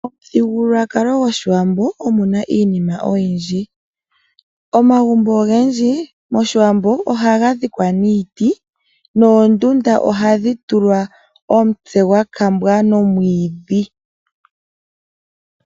Momuthigululwakalo goshiwambo omuna iinima oyindji. Omagumbo ogendji moshiwambo ohaga dhikwa niiti noondunda ohadhi tulwa omutse gwa kambwa nomwiidhi.